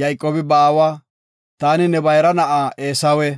Yayqoobi ba aawa, “Taani ne bayra na7a Eesawe.